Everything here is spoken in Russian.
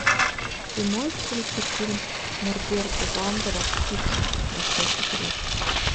ты можешь включить фильм норберта вандера фиксики большой секрет